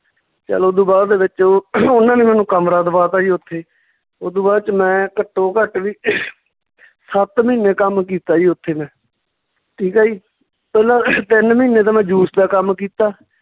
ਚੱਲ ਓਦੂ ਬਾਅਦ ਦੇ ਵਿੱਚ ਉਹ ਉਹਨਾਂ ਨੇ ਮੈਨੂੰ ਕਮਰਾ ਦਵਾਤਾ ਜੀ ਓਥੇ ਓਦੂ ਬਾਅਦ ਚ ਮੈਂ ਘੱਟੋ ਘੱਟ ਵੀ ਸੱਤ ਮਹੀਨੇ ਕੰਮ ਕੀਤਾ ਜੀ ਓਥੇ ਮੈਂ ਠੀਕ ਆ ਜੀ ਪਹਿਲਾਂ ਤਿੰਨ ਮਹੀਨੇ ਤਾਂ ਮੈਂ juice ਦਾ ਕੰਮ ਕੀਤਾ